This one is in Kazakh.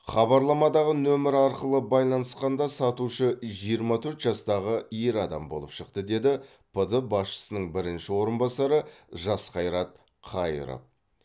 хабарламадағы нөмір арқылы байланысқанда сатушы жиырма төрт жастағы ер адам болып шықты деді пд басшысының бірінші орынбасары жасқайрат қайыров